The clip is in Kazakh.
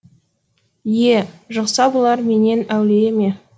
е жұқса бұлар менен әулие ме